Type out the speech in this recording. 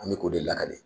An bɛ k'o de lakali